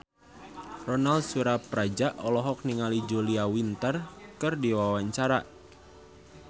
Ronal Surapradja olohok ningali Julia Winter keur diwawancara